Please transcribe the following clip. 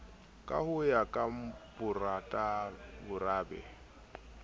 ka ho ya ka borabe